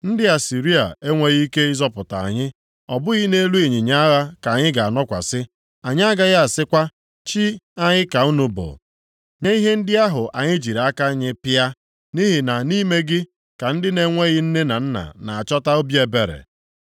Ndị Asịrịa enweghị ike ịzọpụta anyị, ọ bụghị nʼelu ịnyịnya agha ka anyị ga-anọkwasị. Anyị agaghị asịkwa ‘Chi anyị ka unu bụ’ nye ihe ndị ahụ anyị jiri aka anyị pịa, nʼihi na nʼime gị, ka ndị na-enweghị nne na nna na-achọta obi ebere.”